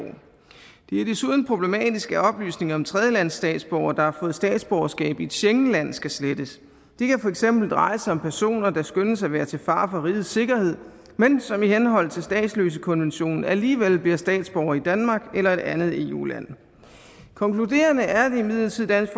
det er desuden problematisk at oplysninger om tredjelandsstatsborgere der har fået statsborgerskab i et schengenland skal slettes det kan for eksempel dreje sig om personer der skønnes at være til fare for rigets sikkerhed men som i henhold til statsløsekonventionen alligevel bliver statsborgere i danmark eller et andet eu land konkluderende er det imidlertid dansk